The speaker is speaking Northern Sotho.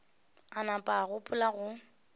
a nama a gopola go